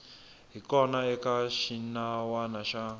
hi kona eka xinawana xa